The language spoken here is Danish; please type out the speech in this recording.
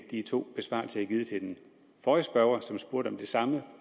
de to besvarelser jeg har givet til den forrige spørger som spurgte om det samme